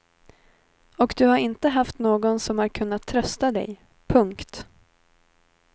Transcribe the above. Och du har inte haft någon som har kunnat trösta dig. punkt